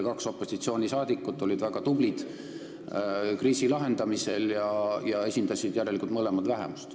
Kaks opositsioonisaadikut olid kriisi lahendamisel väga tublid ja nad esindasid mõlemad järelikult vähemust.